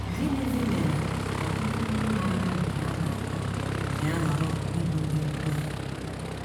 Gịnịzi mere ọtụtụ ndị maara nke a na - akọ ji ahọrọ ịbụ ndị nkụzi?